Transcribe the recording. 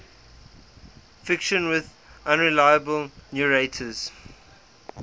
fiction with unreliable narrators